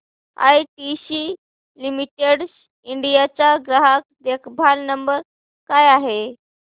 ITC limited India चा ग्राहक देखभाल नंबर काय आहे